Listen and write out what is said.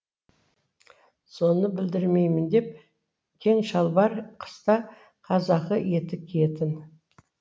соны білдірмеймін деп кең шалбар қыста қазақы етік киетін